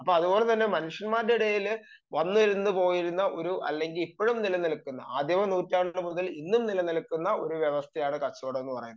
അപ്പോൾ മനുഷ്യന്മാരുടെ ഇടയിൽ വന്നുപോയിരുന്ന അല്ലെങ്കിൽ ഇപ്പോഴും നിലനിൽക്കുന്ന നൂറ്റാണ്ട് മുതൽ ഇന്നും നിലനിൽക്കുന്ന വ്യവസ്ഥയാണ് കച്ചവടം എന്ന് പറയുന്നത്